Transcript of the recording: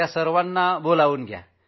कुणाचीही चाचणी राहून जाऊ नये